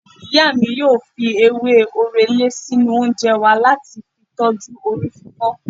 Ìyá mi ó fi ewé orele sínú oúnjẹ wa láti fi tọju orí fífọ́